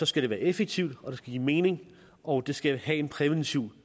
skal det være effektivt og det skal give mening og det skal have en præventiv